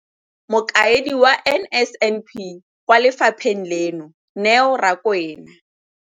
Mokaedi wa NSNP kwa lefapheng leno, Neo Rakwena,